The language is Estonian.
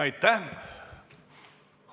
Aitäh!